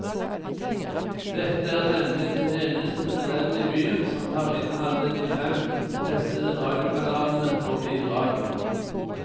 Dette er nemlig den eneste tunnelen i byen som tar inn alle de fem testede radiokanalene på bilradioen.